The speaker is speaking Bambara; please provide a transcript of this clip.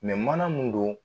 mana mun don